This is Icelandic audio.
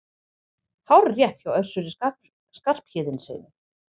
Hárrétt hjá Össuri Skarphéðinssyni!